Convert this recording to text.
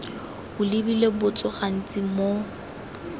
o lebile botso gantsi mo